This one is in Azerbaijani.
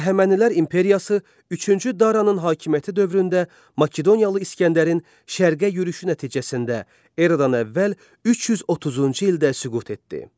Əhəmənilər imperiyası üçüncü Daranın hakimiyyəti dövründə Makedoniyalı İskəndərin şərqə yürüşü nəticəsində Eradan əvvəl 330-cu ildə süqut etdi.